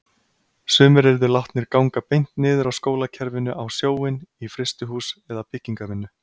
Sumir yrðu látnir ganga beint niður af skólakerfinu á sjóinn, í frystihús eða byggingarvinnu.